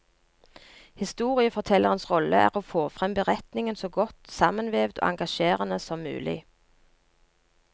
Historiefortellerens rolle er å få frem beretningen så godt sammenvevd og engasjerende som mulig.